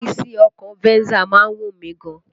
Ìrísí ọkọ̀ Venza má ń wù mí gan ni